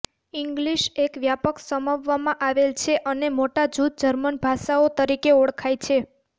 English એક વ્યાપક સમાવવામાં આવેલ છે અને મોટા જૂથ જર્મની ભાષાઓ તરીકે ઓળખાય છે